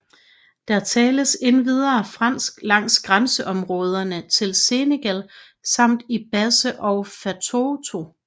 Der tales endvidere fransk langs grænseområderne til Senegal samt i Basse og Fatoto